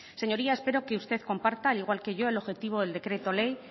señoría espero que usted comparta al igual que yo el objetivo del decreto ley